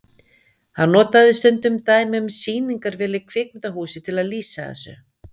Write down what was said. Hann notaði stundum dæmi um sýningarvél í kvikmyndahúsi til að lýsa þessu.